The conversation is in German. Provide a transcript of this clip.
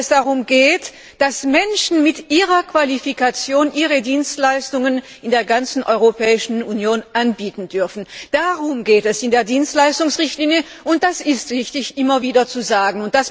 darum geht, dass Menschen mit ihrer Qualifikation ihre Dienstleistungen in der ganzen Europäischen Union anbieten dürfen. Darum geht es in der Dienstleistungsrichtlinie, und es ist wichtig, das immer wieder zu sagen!